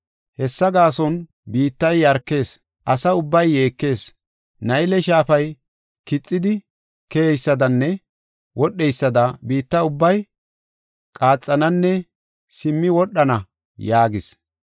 Hessa gaason biittay yarkees; asa ubbay yeekees. Nayle shaafay kixidi keyeysadanne wodheysada biitta ubbay qaaxananne simmi wodhana” yaagis.